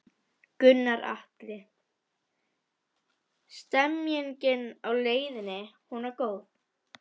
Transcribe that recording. Gunnar Atli: Stemningin á leiðinni, hún var góð?